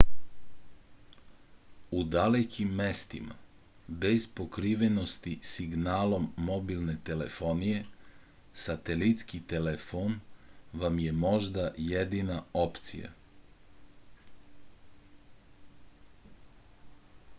u dalekim mestima bez pokrivenosti signalom mobilne telefonije satelitski telefon vam je možda jedina opcija